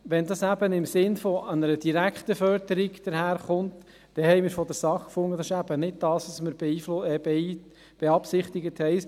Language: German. Wenn dies im Sinn einer direkten Förderung daherkommt, fanden wir seitens der SAK, dass es eben nicht das sei, was wir beabsichtigen.